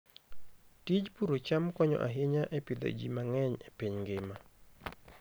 Tij puro cham konyo ahinya e pidho ji mang'eny e piny ngima.